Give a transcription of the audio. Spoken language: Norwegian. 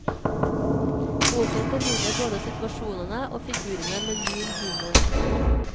Boken formidler både situasjonene og figurene med lun humor.